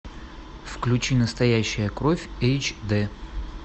включи настоящая кровь эйч ди